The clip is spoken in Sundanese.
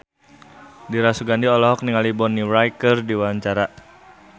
Dira Sugandi olohok ningali Bonnie Wright keur diwawancara